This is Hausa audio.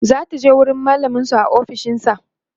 zataje wurin mallamin su a ofishinsa